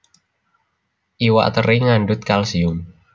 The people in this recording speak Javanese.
Iwak teri ngandhut kalsium